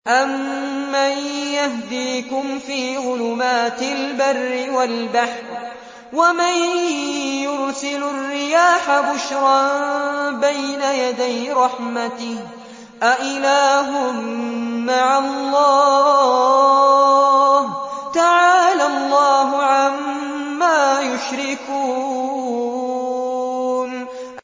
أَمَّن يَهْدِيكُمْ فِي ظُلُمَاتِ الْبَرِّ وَالْبَحْرِ وَمَن يُرْسِلُ الرِّيَاحَ بُشْرًا بَيْنَ يَدَيْ رَحْمَتِهِ ۗ أَإِلَٰهٌ مَّعَ اللَّهِ ۚ تَعَالَى اللَّهُ عَمَّا يُشْرِكُونَ